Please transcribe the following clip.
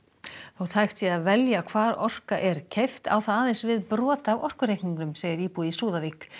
þótt hægt sé að velja hvar orka er keypt á það aðeins við brot af orkureikningnum segir íbúi í Súðavík